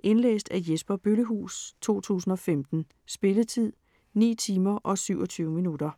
Indlæst af Jesper Bøllehuus, 2015. Spilletid: 9 timer, 27 minutter.